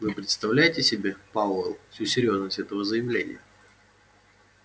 вы представляете себе пауэлл всю серьёзность этого заявления